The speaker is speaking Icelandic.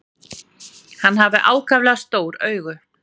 Hann hafði ákaflega stór augu.